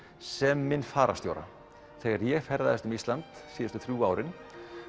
sem minn fararstjóra þegar ég ferðaðist um Ísland síðustu þrjú árin